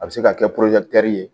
A bɛ se ka kɛ ye